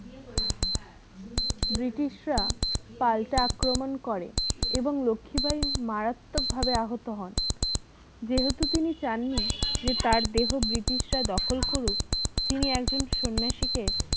British রা পাল্টে আক্রমণ করে এবং লক্ষীবাঈ মারাত্মক ভাবে আহত হন যেহেতু তিনি চান নি যে তার দেহ british রা দখল করুক তিনি একজন সন্ন্যাসীকে